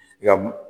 I ka m